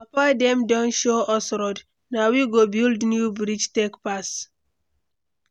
Our papa dem don show us road, na we go build new bridge take pass.